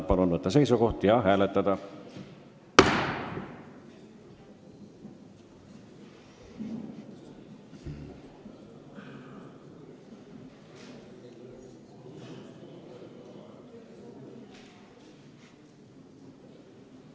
Palun võtta seisukoht ja hääletada!